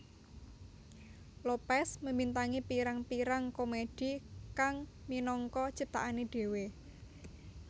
Lopez membintangi pirang pirang komedi kang minangka ciptaane dhewe